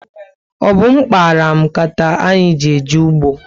Ọ bu m kpara m nkata anyị ji eje ugbo